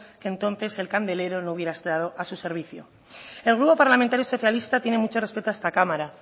que entonces el candelero no hubiera actuado a su servicio el grupo parlamentario socialista tiene mucho respeto a esta cámara